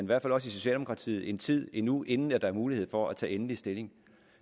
hvert fald også i socialdemokratiet en tid endnu inden der er mulighed for at tage endelig stilling